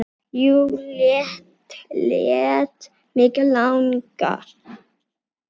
Jú, lét mig langa.